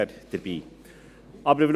Da wären wir dabei.